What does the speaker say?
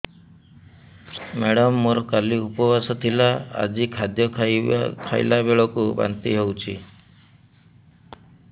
madam ମୋର କାଲି ଉପବାସ ଥିଲା ଆଜି ଖାଦ୍ୟ ଖାଇଲା ବେଳକୁ ବାନ୍ତି ହେଊଛି